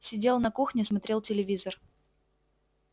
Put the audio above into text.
сидел на кухне смотрел телевизор